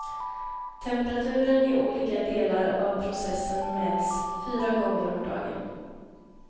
Temperaturen i olika delar av processen mäts fyra gånger om dagen.